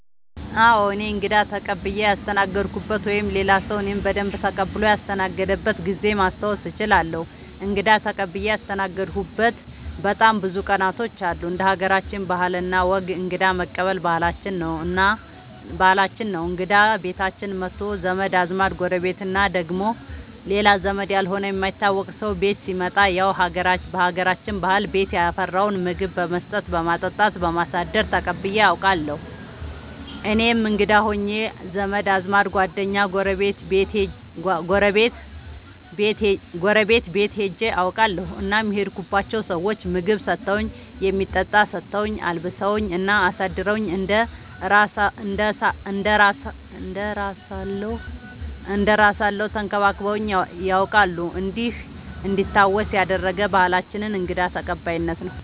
አዎ እኔ እንግዳ ተቀብየ ያስተናገድኩበት ወይም ሌላ ሰዉ እኔን በደንብ ተቀብሎ ያስተናገደበት ጊዜ ማስታወስ እችላለሁ። እንግዳ ተቀብዬ ያስተናገድሁበት በጣም ብዙ ቀናቶች አሉ እንደ ሀገራችን ባህል እና ወግ እንግዳ መቀበል ባህላችን ነው እንግዳ ቤታችን መቶ ዘመድ አዝማድ ጎረቤት እና ደግሞ ሌላ ዘመድ ያልሆነ የማይታወቅ ሰው ቤት ሲመጣ ያው በሀገራችን ባህል ቤት ያፈራውን ምግብ በመስጠት በማጠጣት በማሳደር ተቀብዬ አውቃለሁ። እኔም እንግዳ ሆኜ ዘመድ አዝማድ ጓደኛ ጎረቤት ቤት ሄጄ አውቃለሁ እናም የሄድኩባቸው ሰዎች ምግብ ሰተውኝ የሚጠጣ ሰተውኝ አልብሰውኝ እና አሳድረውኝ እንደ እራሳለው ተንከባክበውኝ ነያውቃሉ እንዲህ እንዲታወስ ያደረገ ባህላችንን እንግዳ ተቀባይነት ነው።